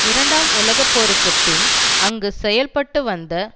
இரண்டாம் உலக போருக்கு பின் அங்கு செயல்பட்டு வந்த